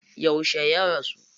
Yauce ya rasu?